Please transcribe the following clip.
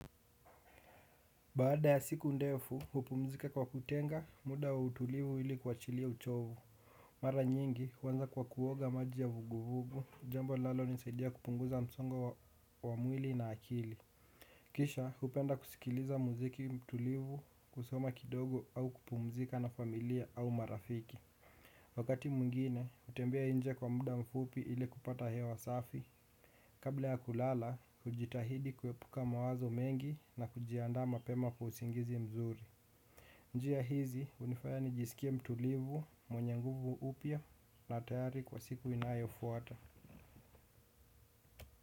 Baada ya siku ndefu, hupumzika kwa kutenga muda wa utulivu ili kuwachilia uchovu. Mara nyingi huanza kwa kuoga maji ya vuguvuvu, jambo llinalonisaidia kupunguza msongo wa mwili na akili. Kisha, hupenda kusikiliza muziki tulivu, kusoma kidogo au kupumzika na familia au marafiki. Wakati mwingine hutembea nje kwa muda mfupi ili kupata hewa safi. Kabla ya kulala, hujitahidi kuepuka mawazo mengi na kujiandaa mapema kwa usingizi mzuri. Njia hizi hunifaya nijisikie mtulivu, mwenye nguvu upya na tayari kwa siku inayofuata.